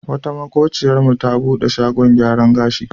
Wata maƙociyarmu ta buɗe shagon gyaran gashi.